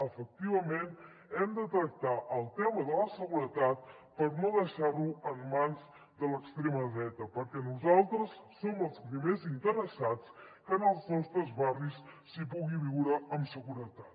efectivament hem de tractar el tema de la seguretat per no deixar lo en mans de l’extrema dreta perquè nosaltres som els primers interessats que en els nostres barris s’hi pugui viure amb seguretat